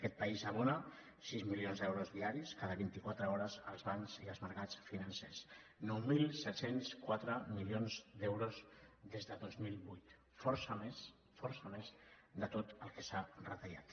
aquest país abona sis milions d’euros diaris cada vint i quatre hores als bancs i als mercats financers nou coma set cents i quatre milions d’euros des de dos mil vuit força més força més de tot el que s’ha retallat